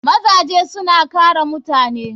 Mazaje suna kare mutane.